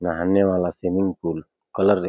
नहाने वाला swimming pool colour दे --